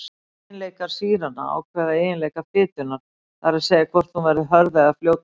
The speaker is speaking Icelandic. Eiginleikar sýranna ákveða eiginleika fitunnar, það er að segja hvort hún verði hörð eða fljótandi.